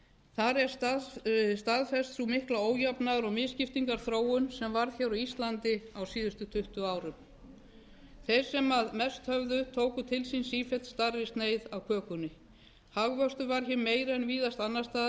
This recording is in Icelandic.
þar er staðfest sú mikla ójafnaðar og misskiptingarþróun sem varð á íslandi á síðustu tuttugu árum þeir sem mest höfðu tóku til sín sífellt stærri sneið af kökunni hagvöxtur varð meiri en víðast annars staðar